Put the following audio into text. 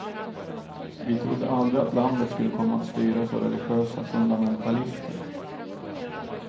Vi trodde aldrig att landet skulle komma att styras av religiösa fundamentalister.